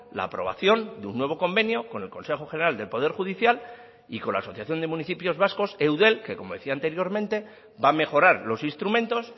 la aprobación de un nuevo convenio con el consejo general del poder judicial y con la asociación de municipios vascos eudel que como decía anteriormente va a mejorar los instrumentos